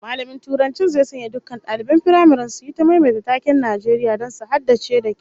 Mallamin Turancin zai sanya dukkan daliban firamaren su yi ta maimaita taken Najeriya don su haddace da kyau